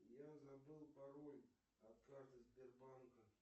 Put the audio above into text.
я забыл пароль от карты сбербанка